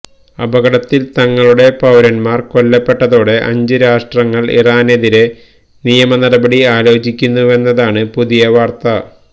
അപകടത്തില് തങ്ങളുടെ പൌരന്മാര് കൊല്ലപ്പെട്ടതോടെ അഞ്ച് രാഷ്ട്രങ്ങള് ഇറാനെതിരെ നിയമനടപടി ആലോചിക്കുന്നുവെന്നതാണ് പുതിയ വാര്ത്ത